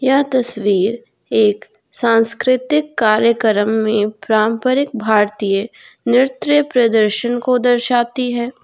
यह तस्वीर एक सांस्कृतिक कार्यक्रम में पारंपरिक भारतीय नृत्य प्रदर्शन को दर्शाती है।